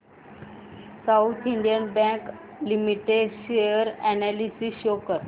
south Indian bank limited share analysis show कर